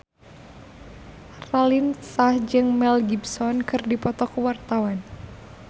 Raline Shah jeung Mel Gibson keur dipoto ku wartawan